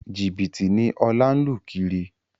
Jìbìtì ni Ọlá ń lù kiri